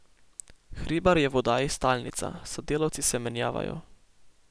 Hribar je v oddaji stalnica, sodelavci se menjavajo.